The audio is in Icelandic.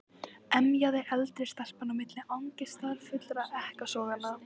emjaði eldri stelpan á milli angistarfullra ekkasoganna.